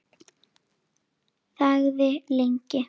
Þagði lengi.